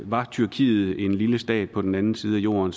var tyrkiet en lille stat på den anden side af jorden